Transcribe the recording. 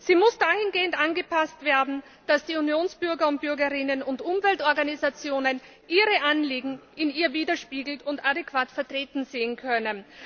Sie muss dahingehend angepasst werden, dass die Unionsbürger und bürgerinnen und Umweltorganisationen ihre Anliegen in ihr widergespiegelt und adäquat vertreten sehen können.